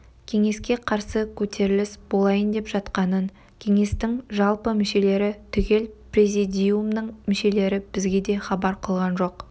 кеңеске қарсы көтеріліс болайын деп жатқанын кеңестің жалпы мүшелері түгіл президиумның мүшелері бізге де хабар қылған жоқ